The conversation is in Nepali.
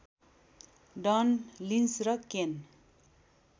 डन लिन्च र केन